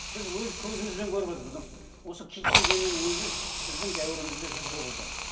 біз өз көзімізбен көріп отырмыз потому что осы киіт дегеннің өзі біздің дәуірімізде жүз құбылды